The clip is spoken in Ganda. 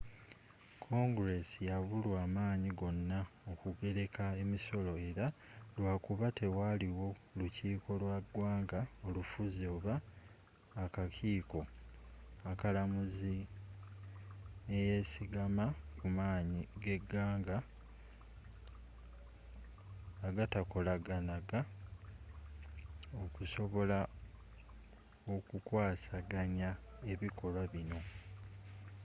congress yabulwa amanyi gona okugereka emisolo era lwakuba tewaliwo lukiiko lwa ggwanga olufuzi oba akakiiko akalamuzi neyesigama kumanyi g'eggwanga agatakolagananga okusobola okukwasaganya ebikolwa byonna